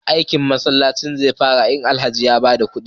aikin ginin masallacin zefara in Alhaji ya bada kudi